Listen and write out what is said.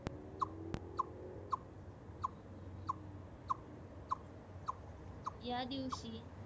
या दिवशी